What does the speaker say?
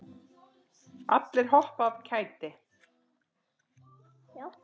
Allir hoppa af kæti.